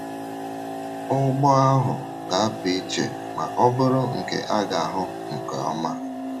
Ụgbọ ahụ ga - apụ iche ma bụrụ nke a ga - ahụ nke ọma.